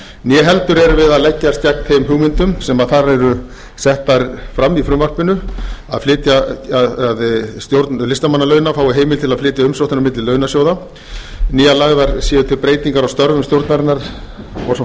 né heldur er verið að leggjast gegn þeim hugmyndum sem þar eru settar fram í frumvarpinu að stjórn listamannalauna fái heimild til að flytja umsóknir á milli launasjóða né lagðar séu til breytingar á störfum stjórnarinnar og svo